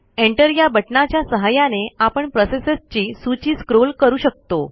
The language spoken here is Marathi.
एंटर या बटणाच्या सहाय्याने आपण प्रोसेसेसची सूची स्क्रॉल करू शकतो